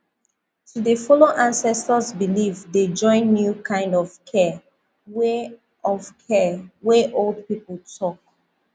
to dey follow ancestors belief dey join new kind of care wey of care wey old people talk